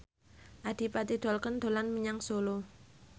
Adipati Dolken dolan menyang Solo